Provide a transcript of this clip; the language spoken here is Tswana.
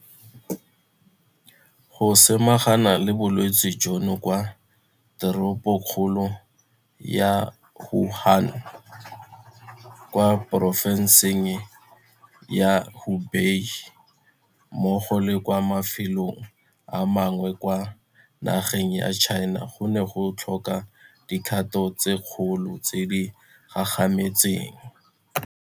Go samagana le bolwetse jono kwa Teropokgolong ya Wuhan, kwa Porofenseng ya Hubei mmogo le kwa mafelong a mangwe kwa nageng ya China go ne go tlhoka dikgato tse dikgolo tse di gagametseng.